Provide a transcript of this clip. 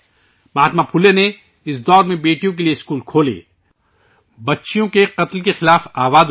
مہاتما پھولے نے ، اس دور میں بیٹیوں کے لئے اسکول کھولے، بچیوں کے قتل کے خلاف آواز اٹھائی